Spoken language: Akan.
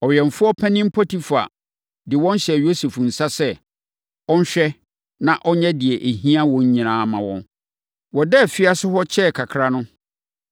Ɔwɛmfoɔ panin Potifar de wɔn hyɛɛ Yosef nsa sɛ, ɔnhwɛ na ɔnyɛ deɛ ɛhia wɔn nyinaa mma wɔn. Wɔdaa afiase hɔ kyɛɛ kakraa no,